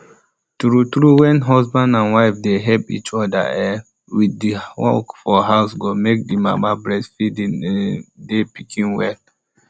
true when husband and wife dey help each other um with the work for house go make the mama breastfeed um d pikin well